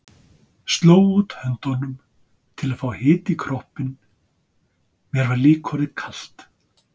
Sló út höndunum til þess að fá hita í kroppinn, mér var líka orðið kalt.